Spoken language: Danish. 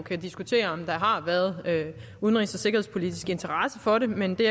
kan diskutere om der har været udenrigs og sikkerhedspolitisk interesse for det men der